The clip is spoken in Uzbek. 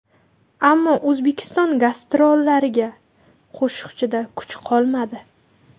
Ammo O‘zbekiston gastrollariga qo‘shiqchida kuch qolmadi.